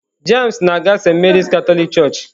James na-aga Saint Mary Katọlik Church.